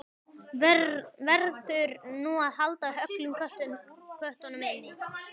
Verður nú að halda öllum köttum inni?